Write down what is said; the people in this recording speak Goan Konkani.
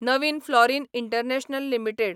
नवीन फ्लॉरीन इंटरनॅशनल लिमिटेड